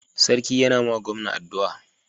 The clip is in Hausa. sarki ya na ma gawan addua